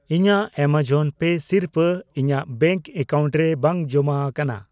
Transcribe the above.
ᱤᱧᱟᱜ Amazon Pay ᱥᱤᱨᱯᱟᱹ ᱤᱧᱟᱜ ᱵᱮᱝᱠ ᱮᱠᱟᱣᱩᱱᱴ ᱨᱮ ᱵᱟᱝ ᱡᱚᱢᱟ ᱟᱠᱟᱱᱟ ᱾